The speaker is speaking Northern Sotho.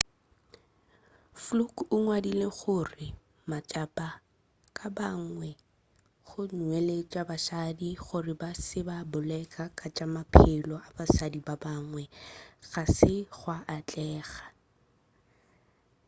fluke o ngwadile gore matshapa ka ba bangwe go nweleletša basadi gore ba se ke ba bolela ka tša maphelo a basadi ba bangwe ga se gwa atlega